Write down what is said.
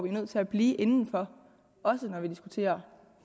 er nødt til at blive inden for også når vi diskuterer